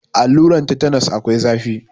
Alluran tetenos akwai zafi.